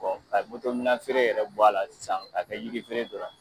ka minan feere yɛrɛ bɔ a la sisan k'a kɛ yiri feere dɔrɔn ye.